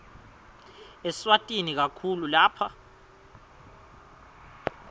eswatini kakhulu lapha